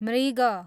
मृग